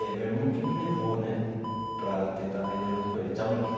É, meu irmão que me levou, né, para tentar vender junto com ele então ele.